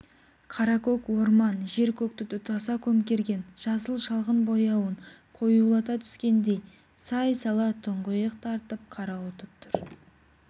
қаракөк орман жер-көкті тұтаса көмкерген жасыл шалғын ңрдң бояуын қоюлата түскендей сай-сала тұңғиық тартып қарауытып тұр